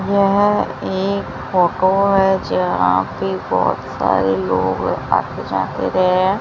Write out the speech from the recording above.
यह एक फोटो है जहाँ पे बहोत सारे लोग आते जाते रहे हैं।